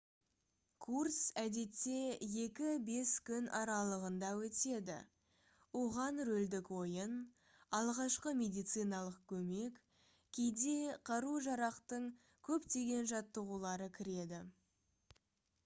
курс әдетте 2-5 күн аралығында өтеді оған рөлдік ойын алғашқы медициналық көмек кейде қару-жарақтың көптеген жаттығулары кіреді